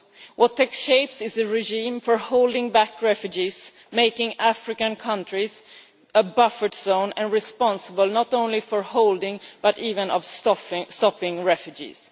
What is taking shape is a regime for holding back refugees, making African countries a buffer zone, making them responsible not only for holding but even for stopping refugees.